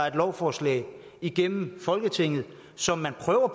et lovforslag igennem folketinget som man prøver